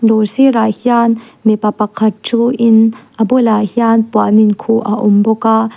dawr sir ah hian mipa pakhat thu in a bulah hian puan in khuh a awm bawk a.